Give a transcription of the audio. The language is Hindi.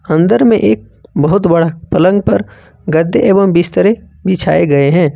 अंदर में एक बहुत बड़ा पलंग पर गद्दे एवं बिस्तरे बिछाए गए हैं।